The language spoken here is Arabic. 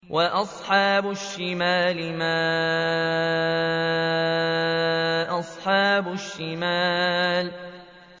وَأَصْحَابُ الشِّمَالِ مَا أَصْحَابُ الشِّمَالِ